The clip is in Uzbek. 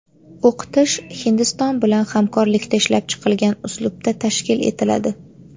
O‘qitish Hindiston bilan hamkorlikda ishlab chiqilgan uslubda tashkil etiladi.